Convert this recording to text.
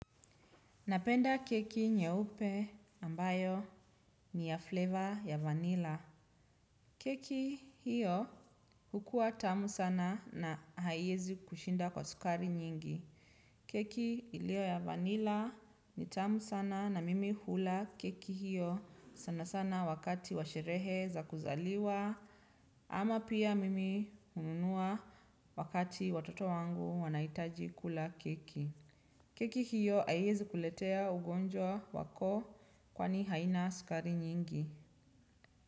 Napenda keki nyeupe ambayo ni ya flavor ya vanilla. Keki hiyo hukua tamu sana na haiezi kushinda kwa sukari nyingi. Keki iliyo ya vanilla ni tamu sana na mimi hula keki hiyo sana sana wakati wa sherehe za kuzaliwa ama pia mimi hununua wakati watoto wangu wanahitaji kula keki. Keki hiyo haiezi kuletea ugonjwa wa koo kwani haina sukari nyingi.